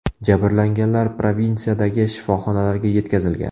Jabrlanganlar provinsiyadagi shifoxonalarga yetkazilgan.